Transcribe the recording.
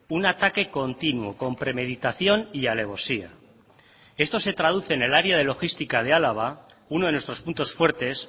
un ataque continuo con premeditación y alevosía esto se traduce en el área de logística de álava uno de nuestros puntos fuertes